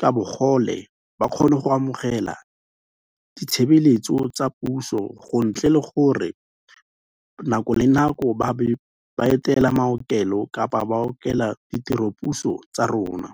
ka bogole ba kgone go amogela ditshebeletso tsa puso gontle le gore nako le nako ba be ba etela maokelo kapa ba okela ditiropuso tsa rona.